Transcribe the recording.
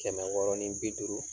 Kɛmɛ wɔɔrɔ ɔni bi duuru.